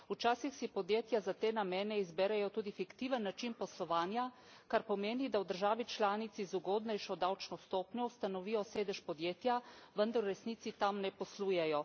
Včasih si podjetja za te namene izberejo tudi fiktiven način poslovanja, kar pomeni, da v državi članici z ugodnejšo davčno stopnjo ustanovijo sedež podjetja, vendar v resnici tam ne poslujejo.